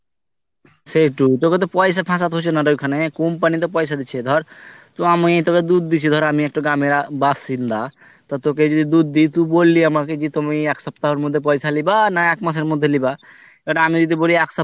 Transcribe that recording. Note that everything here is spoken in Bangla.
সেইটু তোকে তো পয়সা ফাঁসাতে হয়েছে না রে ওইখানে company তো পয়সা দিচ্চে ধর তুই তো আমি তোকে দুধ দিচ্ছি ধর আমিই একটা গ্রামের বাসিন্দা তো তোকে যদি দুধ দিই তুই বল্লি আমাকে তুমি এক সপ্তাহের মধ্যে পয়সা লিবা না এক মাস এর মধ্যে লিবা but আমিই যদি বলি একসপ্তাহ